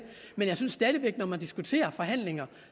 men jeg synes stadig væk at når man diskuterer forhandlingerne